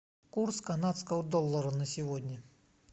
курс канадского доллара на сегодня